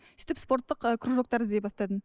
сөйтіп спорттық ы кружоктар іздей бастадым